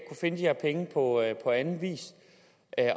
finde de her penge på anden vis